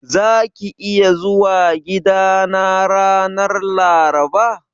Zaka iya zuwa gidana ranar Laraba?